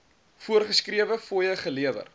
voorgeskrewe fooie gelewer